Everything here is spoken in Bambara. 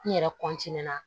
N yɛrɛ na